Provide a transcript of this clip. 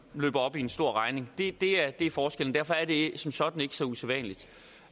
løber op i en stor regning det er det er forskellen derfor er det som sådan ikke så usædvanligt